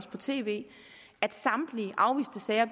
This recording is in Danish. på tv at samtlige afviste sager